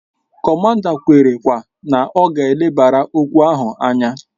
Komanda kwere kwa na ọ ga elebara okwu ahụ anya